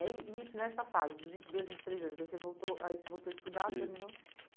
E aí, isso nessa fase dos vinte e dois, vinte e três anos, aí você voltou aí você voltou a estudar, (isso) terminou?